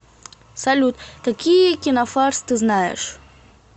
салют какие кинофарс ты знаешь